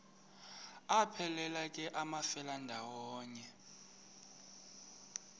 aphelela ke amafelandawonye